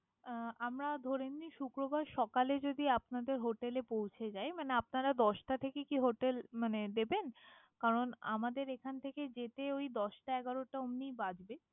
আহ আমরা ধরে নিন শুক্রবার সকালে যদি আপনাদের hotel এ পৌঁছে যাই, মানে আপনারা দশটা থেকে কি hotel মানে দেবেন? কারণ আমাদের এখান থেকে যেতে ওই দশটা এগারোটা অমনই বাজবে।